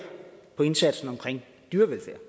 indsatsen omkring dyrevelfærd